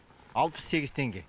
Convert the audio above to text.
алпыс сегіз теңге